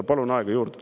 Palun aega juurde.